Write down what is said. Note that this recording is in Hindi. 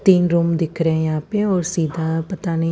तीन रूम दिख रहे है यहाँ पे और सीधा पता नही--